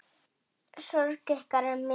Sorg ykkar er mikil.